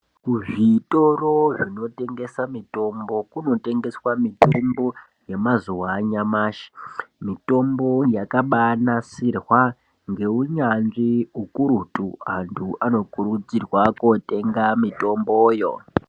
Kuzvitoro zvinotengesa mitombo, kunotengeswa mitombo yemazuwa anyamashi. Mitombo yakabanasirwa ngeunyazvi ukurutu. Antu anokurudzirwa kotenga mitomboyo.